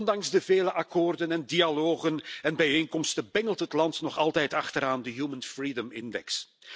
Ondanks de vele akkoorden en dialogen en bijeenkomsten bungelt het land nog altijd onderaan de Human Freedom Index.